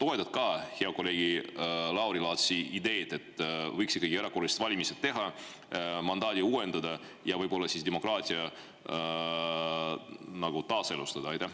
Kas sa toetad hea kolleegi Lauri Laatsi ideed, et võiks ikkagi erakorralised valimised teha, mandaati uuendada ja võib-olla demokraatia nagu taaselustada?